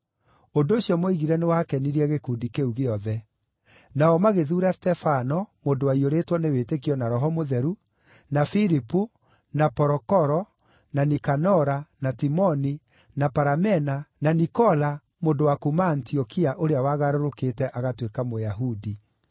Ũndũ ũcio moigire nĩwakenirie gĩkundi kĩu gĩothe. Nao magĩthuura Stefano, mũndũ waiyũrĩtwo nĩ wĩtĩkio na Roho Mũtheru, na Filipu, na Porokoro, na Nikanora, na Timoni, na Paramena, na Nikola, mũndũ wa kuuma Antiokia ũrĩa wagarũrũkĩte agatuĩka Mũyahudi.